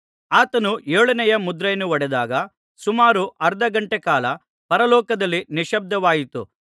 ಆತನು ಏಳನೆಯ ಮುದ್ರೆಯನ್ನು ಒಡೆದಾಗ ಸುಮಾರು ಅರ್ಧಗಂಟೆ ಕಾಲ ಪರಲೋಕದಲ್ಲಿ ನಿಶ್ಯಬ್ದವಾಯಿತು